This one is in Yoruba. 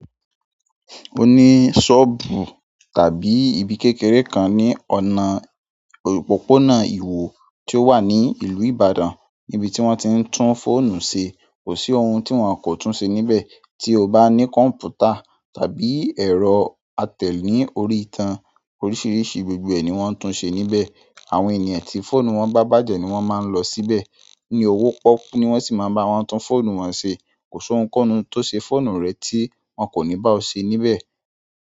O ní sọ́ọ̀bù tàbí ibi kékeré kan ní ọ̀nà òpópónà iwo ti o wa ni ìlú Ibadan ni ibi ti won ti n tun fóònù se. Kò sí ohun tí wọ́n kò tún ṣe níbẹ̀, tí o bá ní kọ̀m̀pútà tàbí ẹ̀rọ atẹ̀ ní orí ìtàn, oríṣiríṣi gbogbo ẹ̀ ní wọ́n ń tún ṣe níbẹ̀. Àwọn ènìyàn tí fóònù wọn bá bàjẹ́ ni wọ́n máa ń lọ síbẹ̀. Ní owó pọ́ku ni wọ́n sì má ń bá wọn tún fóònù wọn ṣe. Kò sí ohun kohun tó ṣe fóònù rẹ tí wọ́n kò ní bá ọ ṣe níbẹ̀.